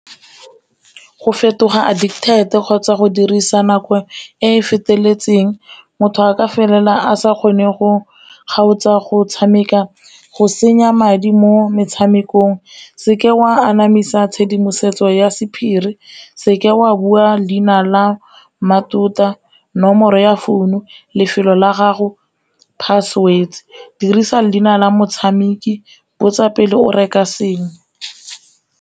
Go fetoga addicted-e kgotsa go dirisa nako e e feteletseng motho a ka felela a sa kgone go kgaotsa, go tshameka, go senya madi mo metshamekong. Seke wa anamisa tshedimosetso ya sephiri, seke wa bua leina la mmatota, nomoro ya founu, lefelo la gago, password, dirisa leina la motshameki, botsa pele o reka sengwe.